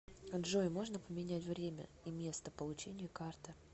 джой можно поменять время и место получения карты